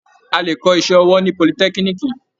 A lè kọ́ iṣẹ́ ọwọ́ ní politẹ́kíníìkì.